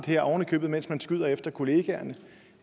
her oven i købet mens man skyder efter kollegaerne